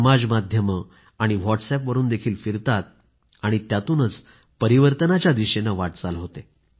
समाज माध्यमं आणि व्हॉटस् अपवरूनही फिरतात आणि त्यातूनच परिवर्तनाच्या दिशेनं वाटचाल होते